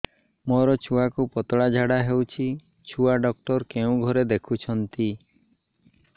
ମୋର ଛୁଆକୁ ପତଳା ଝାଡ଼ା ହେଉଛି ଛୁଆ ଡକ୍ଟର କେଉଁ ଘରେ ଦେଖୁଛନ୍ତି